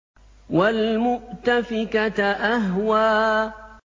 وَالْمُؤْتَفِكَةَ أَهْوَىٰ